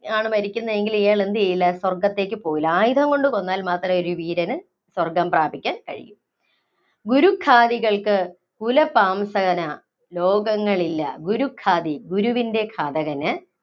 ആണ് മരിക്കുന്നതെങ്കില്‍ ഇയാള്‍ എന്തു ചെയ്യില്ല. സ്വര്‍ഗത്തേക്ക് പോവില്ല. ആയുധംകൊണ്ട് കൊന്നാല്‍ മാത്രമേ ഒരു വീരന് സ്വര്‍ഗ്ഗം പ്രാപിക്കാന്‍ കഴിയൂ. ഗുരുഘാതികള്‍ക്ക് കുലപാംസകനാ ലോകങ്ങളില്ല. ഗുരുഘാതി - ഗുരുവിന്‍റെ ഘാതകന്